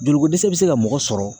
Joliko dɛsɛ bɛ se ka mɔgɔ sɔrɔ.